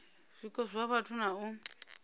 zwiko zwa vhathu na u